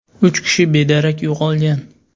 Uch kishi bedarak yo‘qolgan.